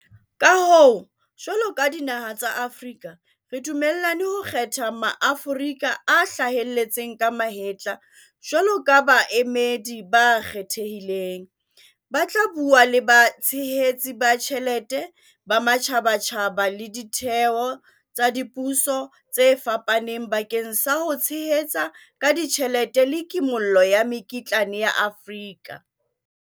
Ka hoo, jwalo ka dinaha tsa Afrika re dumellane ho kgetha Maaforika a hlaheletseng ka mahetla jwalo ka baemedi ba kgethehileng, ba tla bua le batshehetsi ba tjhelete ba matjhabatjhaba le ditheo tsa dipuso tse fapaneng bakeng sa ho tshehetsa ka tjhelete le kimollo ya mekitlane ya Afrika.